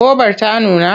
Gobar ta nuna?